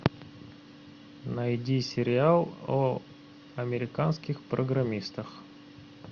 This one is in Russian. найди сериал о американских программистах